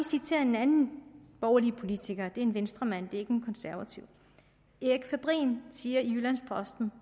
citere en anden borgerlig politiker det er en venstremand det er ikke en konservativ erik fabrin siger i jyllands posten